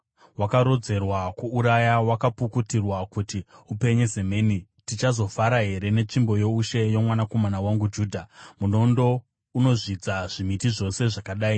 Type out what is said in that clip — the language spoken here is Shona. wakarodzerwa kuuraya, wakapukutirwa kuti upenye semheni! “ ‘Tichazofara here netsvimbo youshe yomwanakomana wangu Judha? Munondo unozvidza zvimiti zvose zvakadai.